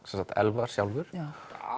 sem sagt Elfar sjálfur